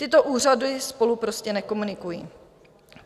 Tyto úřady spolu prostě nekomunikují.